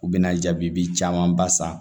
U bɛna jaabi caman ba san